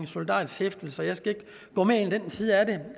solidarisk hæftelse jeg skal ikke gå mere ind i den side af det